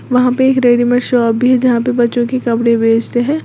वहां पे एक रेडीमेड शॉप भी है जहां पे बच्चों के कपड़े बेचते हैं।